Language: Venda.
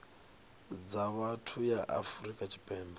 dza vhathu ya afrika tshipembe